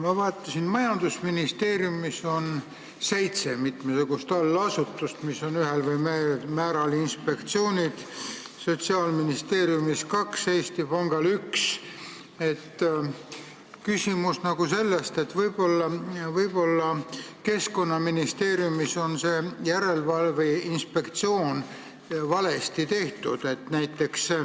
Ma vaatasin, et majandusministeeriumil on seitse mitmesugust allasutust, mis on ühel või teisel määral inspektsioonid, Sotsiaalministeeriumil on neid kaks, Eesti Pangal üks.